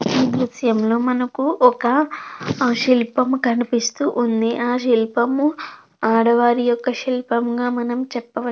ఈ దృశ్యంలో మనకు ఒక శిల్పం కనిపిస్తూ ఉంది. ఆ శిల్పము ఆడవారి యొక్క శిల్పంగా మనం చెప్పవ --